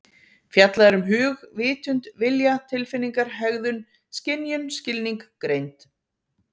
Fjallað er um hug, vitund, vilja, tilfinningar, hegðun, skynjun, skilning, greind.